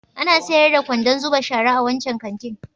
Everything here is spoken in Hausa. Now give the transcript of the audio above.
Ana sayar da kwandon zuba shara a wancan kantin?